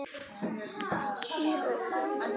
En hvers vegna spírur?